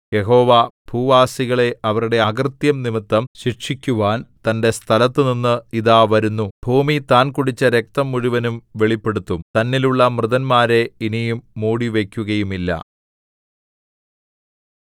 യഹോവ ഭൂവാസികളെ അവരുടെ അകൃത്യം നിമിത്തം ശിക്ഷിക്കുവാൻ തന്റെ സ്ഥലത്തുനിന്ന് ഇതാ വരുന്നു ഭൂമി താൻ കുടിച്ച രക്തം മുഴുവനും വെളിപ്പെടുത്തും തന്നിലുള്ള മൃതന്മാരെ ഇനി മൂടിവയ്ക്കുകയുമില്ല